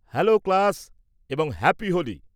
-Hello class এবং happy Holi.